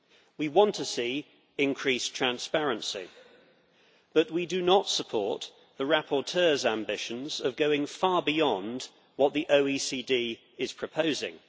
We want to see increased transparency, but we do not support the rapporteur's ambitions of going far beyond what the OECD is proposing.